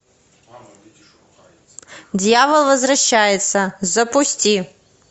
дьявол возвращается запусти